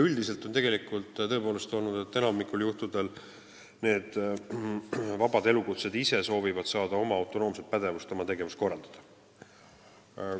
Üldiselt on olnud nii, et enamikul juhtudel soovivad vabade elukutsete esindajad ise saada autonoomset pädevust oma tegevust korraldada.